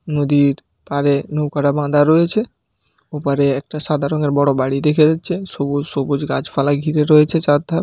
নদীর পাড়ে নৌকাটা বাধা রয়েছে। ওপারে একটা সাদা রঙের বড় বাড়ি দেখা যাচ্ছে। সবুজ সবুজ গাছপালা ঘিরে রয়েছে চার ধার।